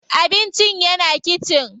Abincin yana kitchen.